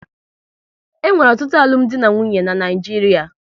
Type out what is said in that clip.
E nwere ọtụtụ alụmdi na nwunye n'Naijiria